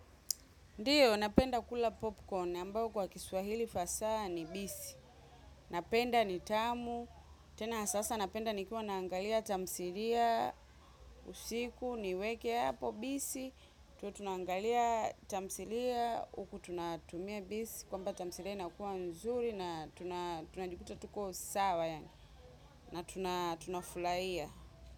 Ndiyo, napenda kula popcorn, ambayo kwa kiswahili fasa ni bisi. Napenda ni tamu, tena sasa napenda nikiwa naangalia tamthilia usiku, niweke hapo bisi. Tuwe tunangalia tamthilia, huku tunatumia bisi, kwamba tamthilia inakuwa mzuri na tunajikuta tuko sawa na tunafurahia.